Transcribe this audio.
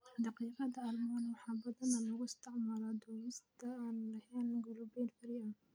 Daqiiqda almond waxaa badanaa loo isticmaalaa dubista aan lahayn gluten-free.